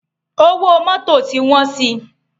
Ówó Mòtó ti wòn si